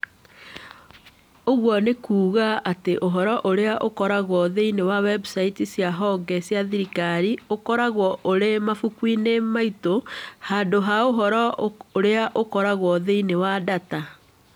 Ũguo nĩ kuuga atĩ ũhoro ũrĩa ũkoragwo thĩinĩ wa website cia honge cia thirikari ũkoragwo ũrĩ mabuku-inĩ maitũ handũ ha ũhoro ũrĩa ũkoragwo thĩinĩ wa data.